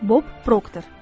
Bob Proctor.